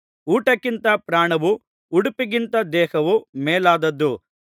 ಊಟಕ್ಕಿಂತ ಪ್ರಾಣವೂ ಉಡುಪಿಗಿಂತ ದೇಹವು ಮೇಲಾದದು